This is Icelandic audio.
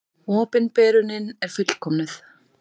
Opinberunin er fullkomnuð.